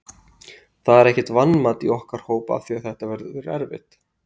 Það er ekkert vanmat í okkar hóp af því að þetta verður erfitt.